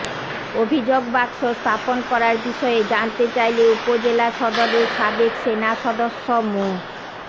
অভিযোগ বাক্স স্থাপন করার বিষয়ে জানতে চাইলে উপজেলা সদরের সাবেক সেনা সদস্য মো